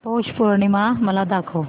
पौष पौर्णिमा मला दाखव